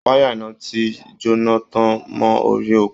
Wáyà iná ti jóná tán mọ́ orí òpó